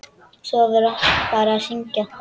Svo var farið að syngja.